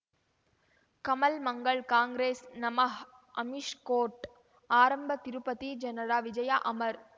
Kamal Mangal Congress ನಮಃ Amish court ಆರಂಭ ತಿರುಪತಿ ಜನರ ವಿಜಯ ಅಮರ್